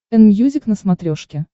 энмьюзик на смотрешке